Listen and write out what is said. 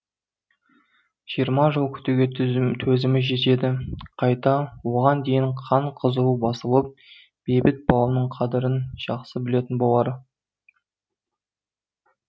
жиырма жыл күтуге төзімі жетеді қайта оған дейін қан қызуы басылып бейбіт бауының қадірін жақсы білетін болар